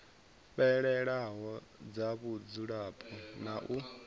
fhelelaho dza mudzulapo na u